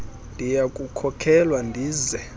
ndiya kukhokelwa ndize